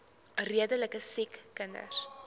redelike siek kinders